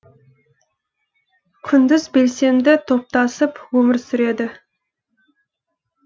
күндіз белсенді топтасып өмір сүреді